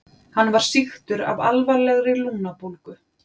Hann var sýktur af alvarlegri lungnabólgu.